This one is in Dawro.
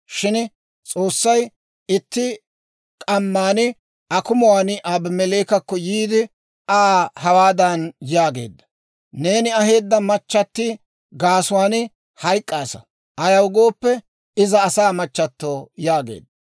Shin S'oossay itti k'amman akumuwaan Abimeleekekko yiide, Aa hawaadan yaageedda; «Neeni aheedda machati gaasuwaan hayk'k'aasa; ayaw gooppe, iza asaa machchatto» yaageedda.